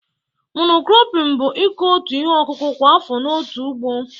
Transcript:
Monokropin bụ ịkọ otu ihe ọkụkụ kwa afọ n'otu ugbo